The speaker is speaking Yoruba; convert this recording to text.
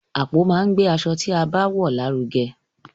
Àpò máa n gbe aṣọ ti a bá wọn larugẹ.